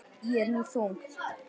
Ég er nú þung.